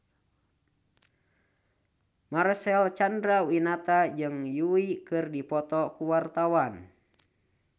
Marcel Chandrawinata jeung Yui keur dipoto ku wartawan